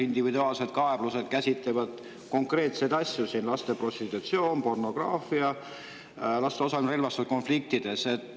Individuaalsetes kaebustes käsitletakse konkreetseid asju, lasteprostitutsiooni ja -pornograafiat ning laste osalemist relvastatud konfliktides.